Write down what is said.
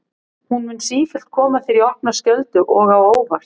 Hún mun sífellt koma þér í opna skjöldu og á óvart.